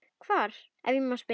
Hvar, ef ég má spyrja?